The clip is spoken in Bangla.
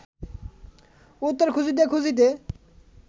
উত্তর খুঁজিতে খুঁজিতে